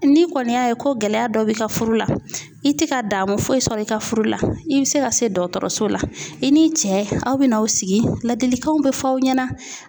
Ni kɔni y'a ye ko gɛlɛya dɔ bɛ ka furu la, i tɛ ka damun foyi sɔrɔ i ka furu la i bɛ se ka se dɔgɔtɔrɔso la i ni cɛ aw bɛna aw sigi ladilikanw bɛ f'aw ɲɛna.